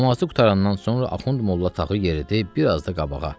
Namazı qurtarandan sonra Axund Molla Tağı yeridi biraz da qabağa.